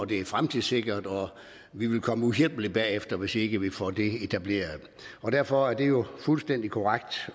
det er fremtidssikret og vi vil komme uhjælpeligt bagefter hvis ikke vi får det etableret derfor er det jo fuldstændig korrekt